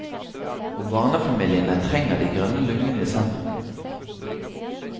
Og barnefamiliene trenger de grønne lungene i sentrum.